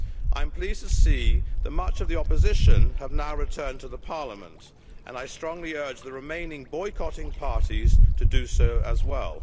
I am pleased to see that much of the opposition have now returned to the parliament, and I strongly urge the remaining boycotting parties to do so as well.